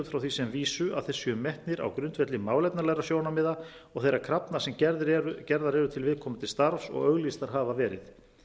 frá því sem vísu að þeir séu metnir á grundvelli málefnalegra sjónarmiða og þeirra krafna sem gerðar eru til viðkomandi starfs og auglýstar hafa verið